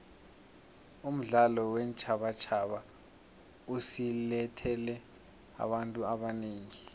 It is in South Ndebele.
umdlalo weentjhabatjhaba usilethele abantu abanengi